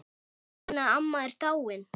Hún Ína amma er dáin.